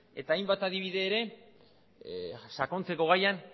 eta hainbat adibide ere sakontzeko gaian